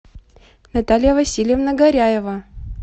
наталья васильевна горяева